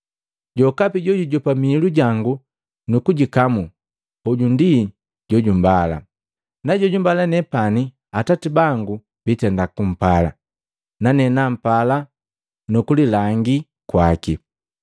“Jokapi jojujopa miilu jangu nukuikamu, hoju ndi jojumbala, na jojumbala nepani Atati bangu biitenda kumpala, nane nampala nukulilangi kwaki.”